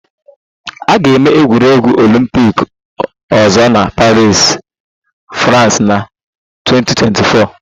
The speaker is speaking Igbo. A ga-eme egwuregwu Olympic ọzọ na Paris, France na 2024